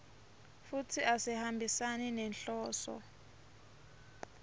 futsi asihambisani nenhloso